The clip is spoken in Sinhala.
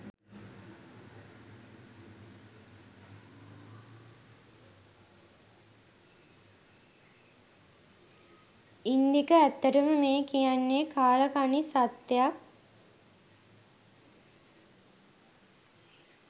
ඉන්දික ඇත්තටම මේ කියන්නෙ කාලකණ්නි සත්‍යයක්